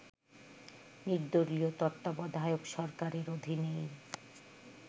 নির্দলীয় তত্ত্বাবধায়ক সরকারের অধীনেই